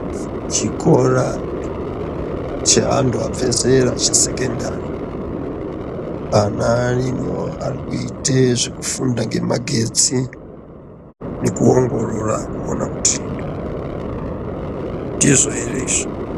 Chikora cheantu abva zera chesekondari ana arimo ari kuite zvekufunda zvemagetsi nekuongorora kuona kuti ndizvo ere izvi.